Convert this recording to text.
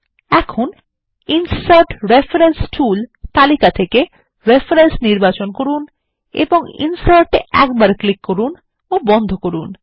এখন insert reference tool তালিকা থেকে রেফারেন্স নির্বাচন করুন এবং ইনসার্ট এ একবার ক্লিক করুন ও বন্ধ করুন